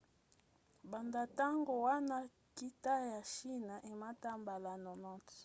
banda ntango wana nkita ya chine emata mbala 90